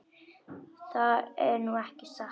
Það er nú ekki satt.